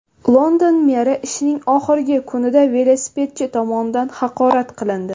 London meri ishining oxirgi kunida velosipedchi tomonidan haqorat qilindi.